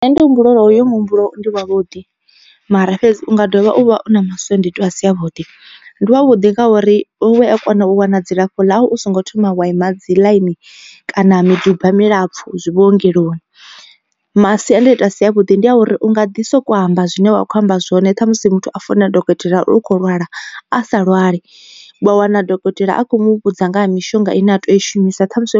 Nṋe ndi humbula uri hoyo muhumbulo ndi wavhuḓi mara fhedzi unga dovha uvha u na masiandaitwa a si avhuḓi. Ndi wa vhuḓi nga uri u a kona u wana dzilafho ḽa u songo thoma wa ima dzi ḽaini kana miduba milapfu zwi vhuongeloni. Masiandaitwa a si a vhuḓi ndi a uri u nga ḓi soko amba zwine wa kho amba zwone ṱhamusi muthu a founela dokotela u kho lwala a sa lwali wa wana dokotela a kho mu vhudza nga ha mishonga ine a tea u i shumisa ṱhamusi